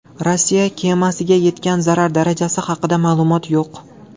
Rossiya kemasiga yetgan zarar darajasi haqida ma’lumot yo‘q.